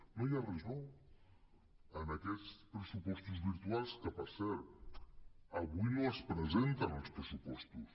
no hi ha res de nou en aquests pressupostos virtuals que per cert avui no es presenten els pressupostos